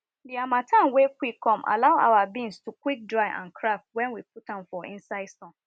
the harmattan wey quick come allow our beans to quick dry and crack when we put am for inside sun